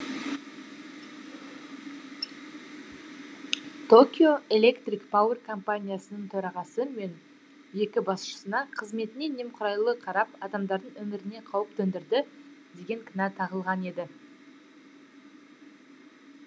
токио электрик пауэр компаниясының төрағасы мен екі басшысына қызметіне немқұрайлы қарап адамдардың өміріне қауіп төндірді деген кінә тағылған еді